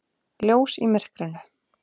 Ljós í myrkrinu.